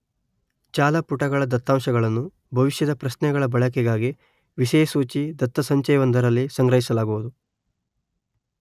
ಜಾಲಪುಟಗಳ ದತ್ತಾಂಶಗಳನ್ನು ಭವಿಷ್ಯದ ಪ್ರಶ್ನೆಗಳ ಬಳಕೆಗಾಗಿ ವಿಷಯಸೂಚಿ ದತ್ತಸಂಚಯವೊಂದರಲ್ಲಿ ಸಂಗ್ರಹಿಲಾಗುವುದು.